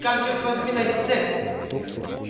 как чёрт возьми найти цепь